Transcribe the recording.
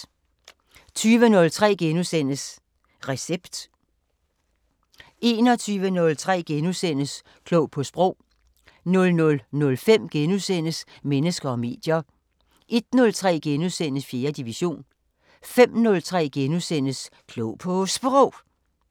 20:03: Recept * 21:03: Klog på Sprog * 00:05: Mennesker og medier * 01:03: 4. division * 05:03: Klog på Sprog *